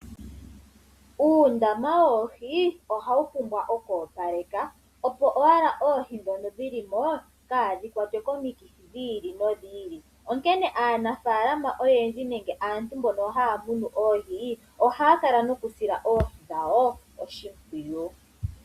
Uundama woohi ohawu pumbwa oku opalekwa, opo owala oohi ndhono dhi li mo kaadhi kwatwe komikithi dhi ili nodhi ili. Aananafaalama oyendji nenge aantu mbono haya munu oohi ohaya kala nokusila oohi dhawo oshimpwiyu.